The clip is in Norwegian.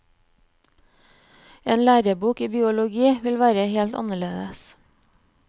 En lærebok i biologi vil være helt annerledes.